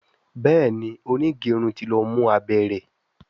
Béèni onigerun tí ló mú abé rẹ.